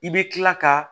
I bɛ kila ka